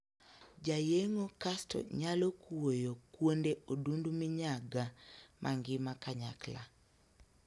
Jayeng'o kasto nyalo kuoyo kuonde odundu minyaga mangima kanyakla.